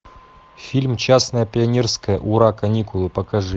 фильм частное пионерское ура каникулы покажи